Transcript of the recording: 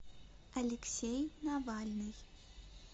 алексей навальный